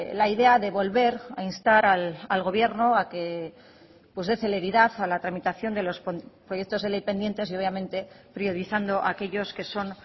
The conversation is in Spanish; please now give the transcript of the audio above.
la idea de volver a instar al gobierno a que dé celeridad a la tramitación de los proyectos de ley pendientes y obviamente priorizando aquellos que son